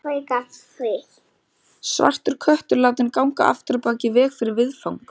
Svartur köttur látinn ganga afturábak í veg fyrir viðfang.